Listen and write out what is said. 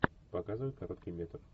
показывай короткий метр